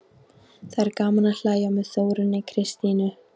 Það er gaman að hlæja með Þórunni Kristínu.